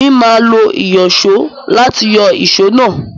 Èmi máa lo ìyọ̀só láti yọ èsó náà.